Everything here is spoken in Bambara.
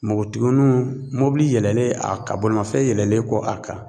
Npogotigininw mobili yɛlɛnlen a ka bolimafɛn yɛlɛlen kɔ a kan